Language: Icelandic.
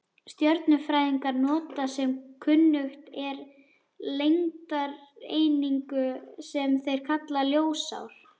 Stjörnufræðingar nota sem kunnugt er lengdareiningu, sem þeir kalla ljósár.